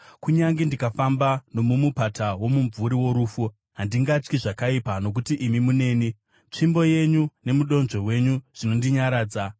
Kunyange ndikafamba nomumupata womumvuri worufu, handingatyi zvakaipa, nokuti imi muneni; tsvimbo yenyu nomudonzvo wenyu zvinondinyaradza.